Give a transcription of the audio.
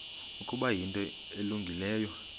ukuba yinto elungileyo